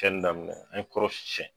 daminɛ an ye kɔrɔ si sɛn